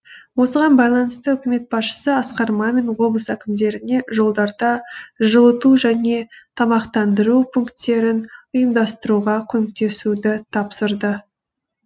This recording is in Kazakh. осыған байланысты үкімет басшысы асқар мамин облыс әкімдеріне жолдарда жылыту және тамақтандыру пункттерін ұйымдастыруға көмектесуді тапсырды